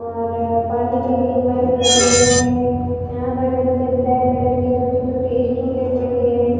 और पानी के लिए पाइप लगे हुए हैं यहां पर नीचे ब्लैक कलर की छोटी छोटी स्टूले पड़ी है।